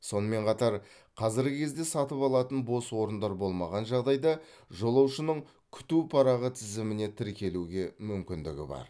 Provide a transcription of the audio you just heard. сонымен қатар қазіргі кезде сатып алатын бос орындар болмаған жағдайда жолаушының күту парағы тізіміне тіркелуге мүмкіндігі бар